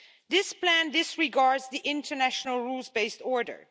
This plan disregards the international rules based order.